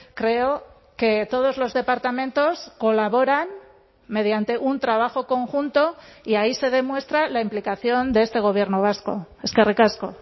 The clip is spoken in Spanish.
creo que todos los departamentos colaboran mediante un trabajo conjunto y ahí se demuestra la implicación de este gobierno vasco eskerrik asko